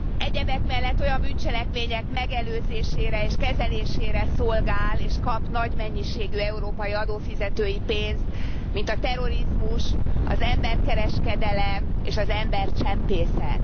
Egyebek mellett olyan bűncselekmények megelőzésére és kezelésére szolgál és kap nagy mennyiségű európai adófizetői pénzt, mint a terrorizmus, az emberkereskedelem, és az embercsempészet.